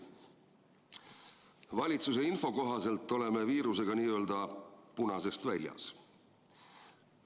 Valitsuse info kohaselt oleme viirusega n-ö punasest väljas.